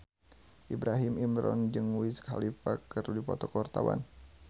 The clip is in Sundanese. Ibrahim Imran jeung Wiz Khalifa keur dipoto ku wartawan